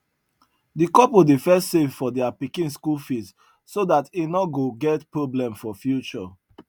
the couple dey first save for their pikin school fees so that e no go get problem for future